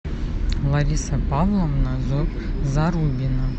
лариса павловна зарубина